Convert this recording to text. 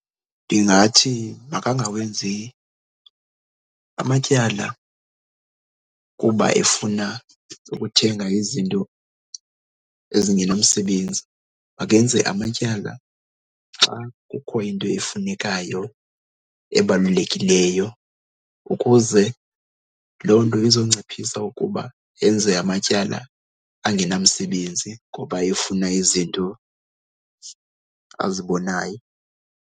Ndingathi makangawenzi amatyala kuba efuna ukuthenga izinto ezingenamsebenzi, makenze amatyala xa kukho into efunekayo ebalulekileyo ukuze loo nto izonciphisa ukuba enze amatyala angenamsebenzi ngoba efuna izinto azibonayo.